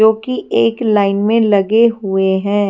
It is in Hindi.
जो की एक लाइन मे लगे हुए है।